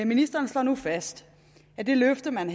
ministeren slår nu fast at det løfte man